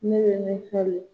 Ne mɛ min